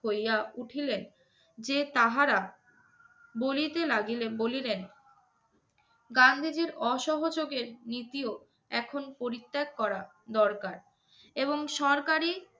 হইয়া উঠিলেন যে তাহারা বলিতে লাগিলে~ বলিলেন, গান্ধীজীর অসহযোগের নীতিও এখন পরিত্যাগ করা দরকার। এবং সরকারি